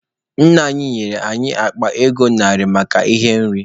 Nna anyị nyere anyị akpa ego narị maka ihe nri.